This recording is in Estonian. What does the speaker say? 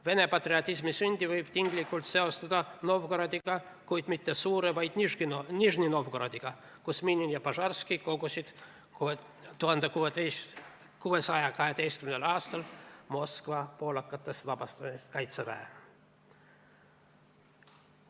Vene patriotismi sündi võib tinglikult seostada Novgorodiga, kuid mitte Suure, vaid Nižni Novgorodiga, kus Minin ja Požarski kogusid 1612. aastal Moskva poolakatest vabastamiseks kokku kaitseväe.